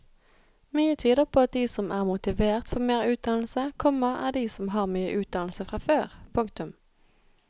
Mye tyder på at de som er motivert for mer utdannelse, komma er de som har mye utdannelse fra før. punktum